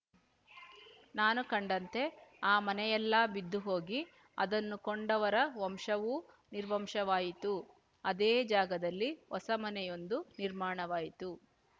ನಾನು ಕಂಡಂತೆ ಆ ಮನೆಯೆಲ್ಲಾ ಬಿದ್ದುಹೋಗಿ ಅದನ್ನು ಕೊಂಡವರ ವಂಶವೂ ನಿರ್ವಂಶವಾಯಿತು ಅದೇ ಜಾಗದಲ್ಲಿ ಹೊಸಮನೆಯೊಂದು ನಿರ್ಮಾಣವಾಯಿತು